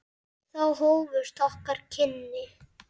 Þá hófust okkar kynni.